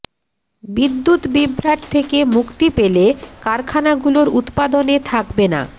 বিদ্যুৎ বিভ্রাট থেকে মুক্তি পেলে কারখানাগুলোর উৎপাদনে থাকবে না